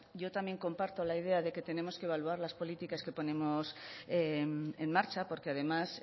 yo también comparto la idea de que tenemos que evaluar las políticas que ponemos en marcha porque además